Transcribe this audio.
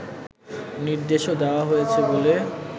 নির্দেশও দেওয়া হয়েছে বলে